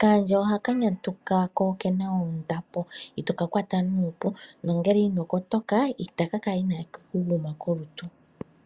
Kaandje ohaka nyantuka ko okena ondambo itokakwata nuupu nongele inokotoka otakavulu okuku kwata kolutu.